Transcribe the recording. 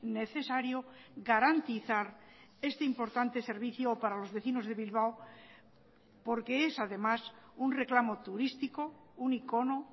necesario garantizar este importante servicio para los vecinos de bilbao porque es además un reclamo turístico un icono